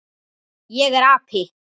Ég er api.